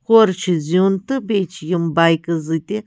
. زتہِ ہورٕ چُھ زیُن تہٕ بیٚیہِ چھ یِم بیکہٕ